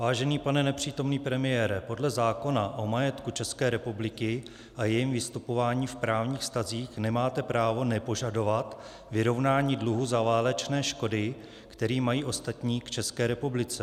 Vážený pane nepřítomný premiére, podle zákona o majetku České republiky a jejím vystupováním v právních vztazích nemáte právo nepožadovat vyrovnání dluhu za válečné škody, který mají ostatní k České republice.